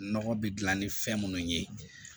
Nɔgɔ bɛ dilan ni fɛn munnu ye